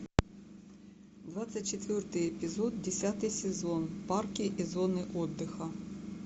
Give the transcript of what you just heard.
двадцать четвертый эпизод десятый сезон парки и зоны отдыха